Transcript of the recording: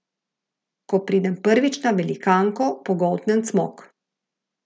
Ko pridem prvič na velikanko, pogoltnem cmok.